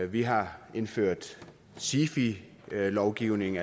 vi har indført sifi lovgivning